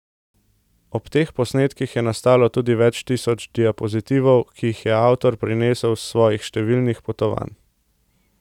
Ob teh posnetkih je nastalo tudi več tisoč diapozitivov, ki jih je avtor prinesel s svojih številnih potovanj.